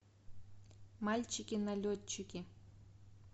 мальчики налетчики